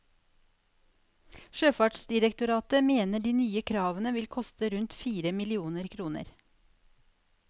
Sjøfartsdirektoratet mener de nye kravene vil koste rundt fire millioner kroner.